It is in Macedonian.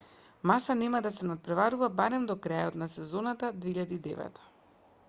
маса нема да се натпреварува барем до крајот на сезоната 2009